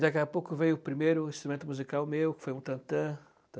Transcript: Daqui a pouco veio o primeiro instrumento musical meu, que foi um tantã